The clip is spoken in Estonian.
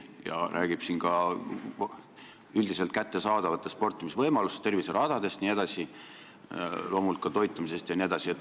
Ja ta räägib ka üldiselt kättesaadavatest sportimisvõimalustest – terviseradadest jne – ja loomulikult ka tervislikust toitumisest.